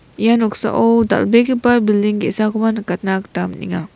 ia noksao dal·begipa bilding ge·sakoba nikatna gita man·enga.